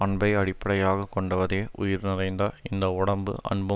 அன்பை அடிப்படையாக கொண்டதே உயிர் நிறைந்த இந்த உடம்பு அன்பு